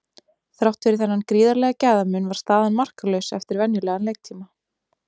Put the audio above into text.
Þrátt fyrir þennan gríðarlega gæðamun var staðan markalaus eftir venjulegan leiktíma.